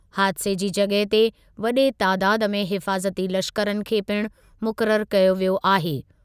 हादिसे जी जॻहि ते वडे तादादु में हिफ़ाज़ती लश्करनि खे पिणु मुक़ररु कयो वियो आहे।